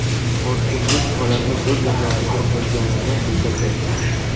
Hokimlik holatni o‘z nazoratiga olganini bildirdi.